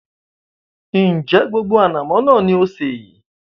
Ń jẹ́ gbogbo ànàmọ́ náà ni ó sé?